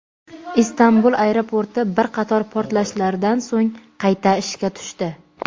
Istanbul aeroporti bir qator portlashlardan so‘ng qayta ishga tushdi.